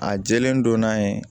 A jɛlen don n'a ye